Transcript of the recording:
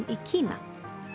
í Kína